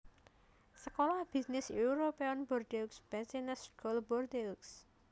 Sekolah bisnis European Bordeaux Business School Bordeaux